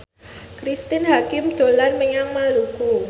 Cristine Hakim dolan menyang Maluku